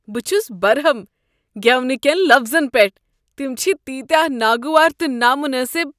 بہ چھس برہم گیونہٕ کین لفظن پیٹھ۔ تم چھ تیٖتیاہ ناگوار تہٕ نا منٲسب۔